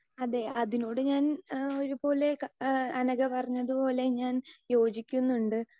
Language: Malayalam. സ്പീക്കർ 2 അതെ അതിനോട് ഞാൻ ഒരുപോലെ ഏഹ് അനഘ പറഞ്ഞതുപോലെ ഞാൻ യോജിക്കുന്നുണ്ട്